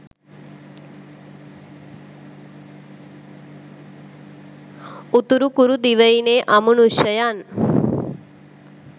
උතුරුකුරු දිවයිනේ අමනුශ්‍යයන්